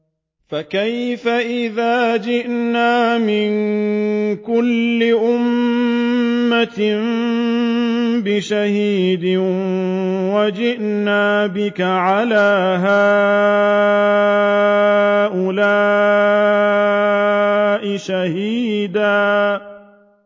فَكَيْفَ إِذَا جِئْنَا مِن كُلِّ أُمَّةٍ بِشَهِيدٍ وَجِئْنَا بِكَ عَلَىٰ هَٰؤُلَاءِ شَهِيدًا